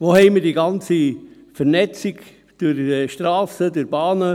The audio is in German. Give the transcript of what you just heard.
Wo haben wir die ganze Vernetzung durch Strassen, durch Bahnen?